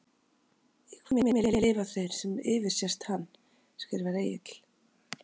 Í hvaða heimi lifa þeir sem yfirsést hann? skrifar Egill.